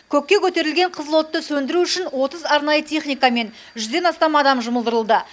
көкке көтерілген қызыл отты сөндіру үшін отыз арнайы техника мен жүзден астам адам жұмылдырылды